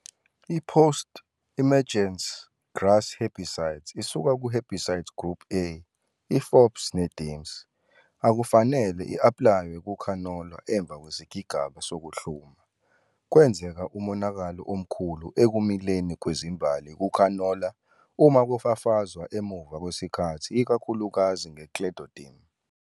i-Post-emergence grass herbicides isuka ku-herbicide group A, i-fops ne-dims, akufanele i-APLAYWE KUKHANOLA EMVA KWESIGABA SOKUHlUMA. Kwenzeka umonakalo omkhulu ekumileni kwezimbali kukhanola uma kufafazwa emuva kwesikhathi ikakhulukazi nge-Clethodim.